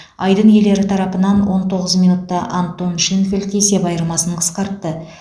айдын иелері тарапынан он тоғыз минутта антон шенфельд есеп айырмасын қысқартты